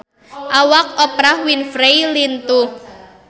Awak Oprah Winfrey lintuh